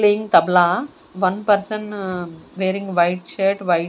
Playing Tabla one person uh wearing white shirt white.